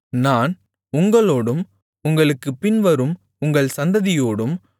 நான் உங்களோடும் உங்களுக்குப் பின்வரும் உங்கள் சந்ததியோடும்